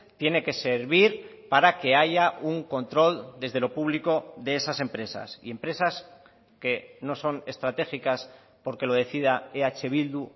tiene que servir para que haya un control desde lo público de esas empresas y empresas que no son estratégicas porque lo decida eh bildu